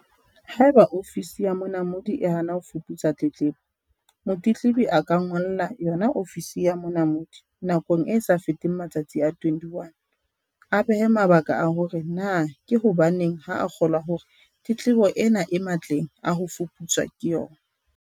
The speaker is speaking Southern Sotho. Haeba Ofisi ya Monamodi e hana ho fuputsa tletlebo, motletlebi a ka ngolla yona Ofisi ya Monamodi nakong e sa feteng matsatsi a 21, a behe mabaka a hore na ke hobaneng ha a kgolwa hore tletlebo ena e matleng a ho fuputswa ke yona.